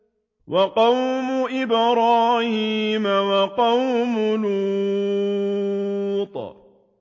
وَقَوْمُ إِبْرَاهِيمَ وَقَوْمُ لُوطٍ